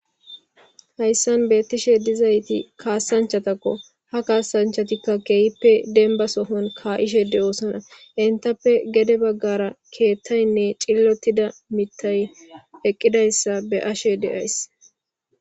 Hayssan beettishe dizayti kaasanchatakko ha kaasanchatikka keehippe denba sohon kaa'ishe de'oosona intappe gede baggara keethtaynne cillottida mitay eqqidayssa be ashe deays.